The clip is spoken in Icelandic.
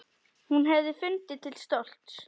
Hún hefði fundið til stolts.